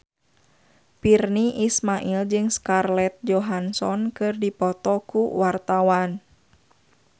Virnie Ismail jeung Scarlett Johansson keur dipoto ku wartawan